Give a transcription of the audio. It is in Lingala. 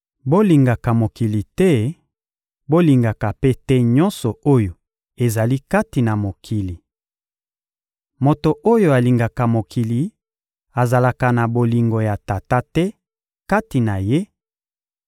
Bolingaka mokili te; bolingaka mpe te nyonso oyo ezali kati na mokili. Moto oyo alingaka mokili azalaka na bolingo ya Tata te kati na ye,